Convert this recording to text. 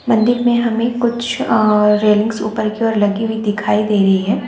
मंदिर मे हमें कुछ आ रेलिंग्स ऊपर की ओर लगी हुई दिखाई दे रही है।